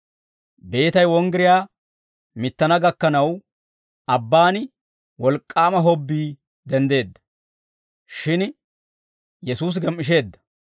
Beetay wonggiriyaa mittana gakkanaw, abbaan wolk'k'aama hobbii denddeedda; shin Yesuusi gem"isheedda.